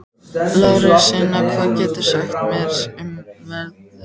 Lárensína, hvað geturðu sagt mér um veðrið?